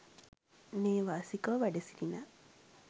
නේවාසිකව වැඩ සිටින